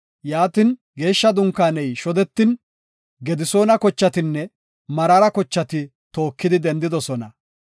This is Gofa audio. Yaatin, Geeshsha Dunkaaney shodetin, Gedisoona kochatinne Meraara kochati tookidi dendidosona.